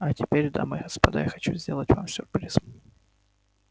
а теперь дамы и господа я хочу сделать вам сюрприз